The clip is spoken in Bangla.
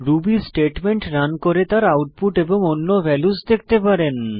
রুবি স্টেটমেন্ট রান করে তার আউটপুট এবং অন্য ভ্যালুস দেখতে পারেন